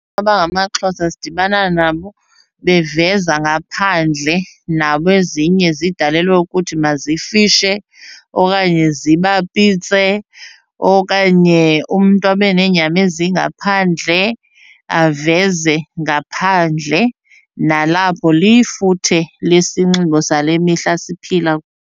abangamaXhosa sidibana nabo beveza ngaphandle nabo ezinye zidalelwe ukuthi mazifishe okanye zibapitse okanye umntu abe neenyama ezingaphandle aveze ngaphandle, nalapho lifuthe lesinxibo sale mihla siphila .